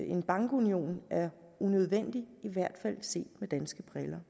en bankunion er unødvendig i hvert fald set med danske briller